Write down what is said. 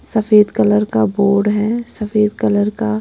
सफेद कलर का बोर्ड है सफेद कलर का--